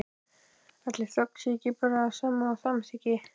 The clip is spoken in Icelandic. Ætli þögn sé ekki bara það sama og samþykki?